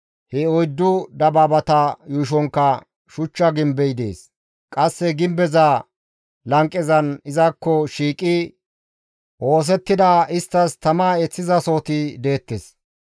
He oyddu dabaabata yuushonkka shuchcha gimbey dees; qasse gimbeza lanqezan izakko shiiqidi oosettida, isttas tama eeththizasohoti deettes.